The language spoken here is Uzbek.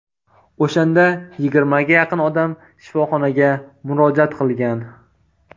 O‘shanda yigirmaga yaqin odam shifoxonaga murojaat qilgan.